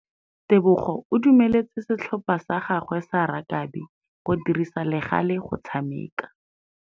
Tebogô o dumeletse setlhopha sa gagwe sa rakabi go dirisa le galê go tshameka.